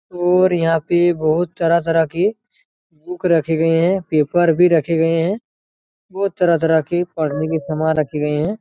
और यहाँ पे बहुत तरह-तरह की बुक रखी गयी हैं पेपर भी रखे गए है बहुत तरह-तरह की पढ़ने के सामान रखे गए हैं।